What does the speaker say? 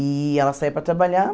E ela saia para trabalhar.